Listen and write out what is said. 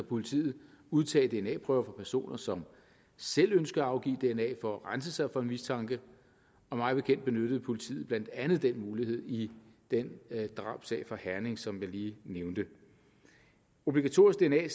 politiet udtage dna prøver fra personer som selv ønsker at afgive dna for at rense sig for en mistanke og mig bekendt benyttede politiet blandt andet den mulighed i den drabssag fra herning som jeg lige nævnte obligatorisk dna